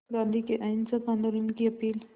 गांधी के अहिंसक आंदोलन की अपील